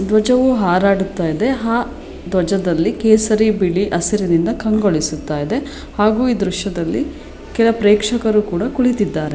ಧ್ವಜವು ಹಾರಾಡುತ್ತಿದೆ ಆ ಧ್ವಜದಲ್ಲಿ ಕೇಸರಿ ಬಿಳಿ ಹಸಿರಿನಿಂದ ಕಂಗೊಳಿಸುತ್ತಾ ಇದೆ ಹಾಗೂ ಈ ದೃಶ್ಯದಲ್ಲಿ ಕೆಲವು ಪ್ರೇಕ್ಷಕರು ಕೂಡ ಕುಳಿತಿದ್ದಾರೆ.